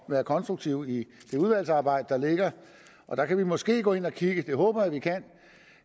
være konstruktive i det udvalgsarbejde der venter og der kan vi måske gå ind at kigge det håber